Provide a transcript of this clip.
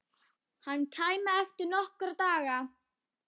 Hann kæmi eftir nokkra daga.